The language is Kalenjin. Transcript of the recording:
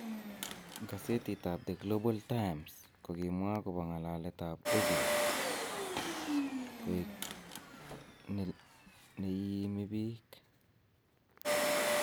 Gesetit ab 'The Global Times' ko kimwa agobo ng'alaletab Ozil koik ne "Iimi biik"